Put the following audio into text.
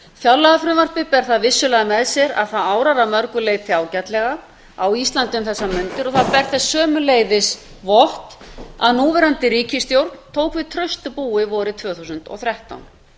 fjárlagafrumvarpið ber það vissulega með sér að það árar að mörgu leyti ágætlega á íslandi um þessar mundir og það ber þess sömuleiðis vott að núverandi ríkisstjórn tók við traustu búi vorið tvö þúsund og þrettán